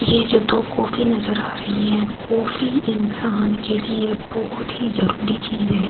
ये जो दो कॉफी नजर आ रही है कॉफी इंसान के लिए बहुत ही जरूरी चीज है।